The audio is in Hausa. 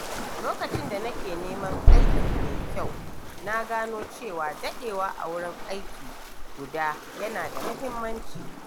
Lokacin da nake neman aiki mai kyau, na gano cewa daɗewa a wurin aiki guda yana da mahimmanci.